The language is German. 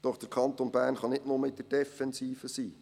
Doch der Kanton Bern kann nicht nur in der Defensive sein.